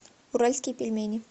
уральские пельмени